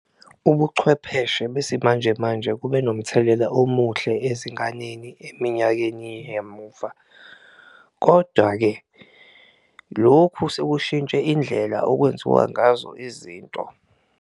Ubuchwepheshe besimanjemanje kube nomthelela omuhle ezinganeni eminyakeni yamuva, kodwa-ke lokhu sekushintshe indlela okwenziwa ngazo izinto.